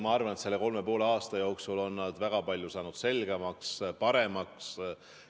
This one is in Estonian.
Ma arvan, et selle kolme ja poole aasta jooksul on nad väga palju saanud selgemaks, paremaks.